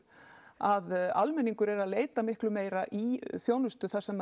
að almenningur er að leita miklu meira í þjónustu þar sem